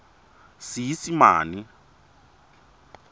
seesimane